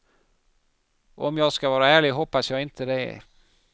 Och om jag ska vara ärlig hoppas jag inte det.